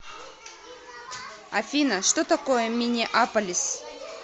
афина что такое миннеаполис